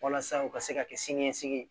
Walasa u ka se ka kɛ siniɲɛsigi ye